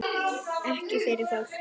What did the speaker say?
Ekki fyrir fólk?